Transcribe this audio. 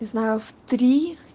не знаю в три